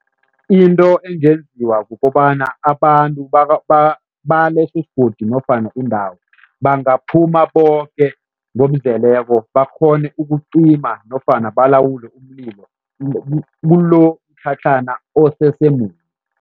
Into engenziwa kukobana abantu balesi isigodi nofana indawo, bangaphuma boke ngokuzeleko bakghone ukucima nofana balawule umlilo kulomtlhatlhana